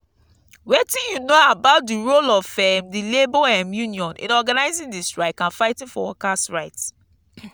wetin you know about di role of um di labor um union in organizing di strike and fighting for worker's right?